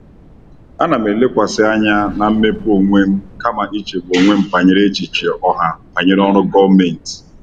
Ana m elekwasị anya na mmepe onwe m kama ichegbu onwe m banyere echiche ọha banyere ọrụ gọọmentị.